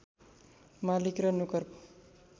मालिक र नोकरको